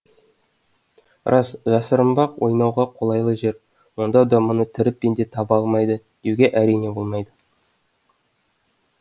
рас жасырынбақ ойнауға қолайлы жер сонда да мұны тірі пенде таба алмайды деуге әрине болмайды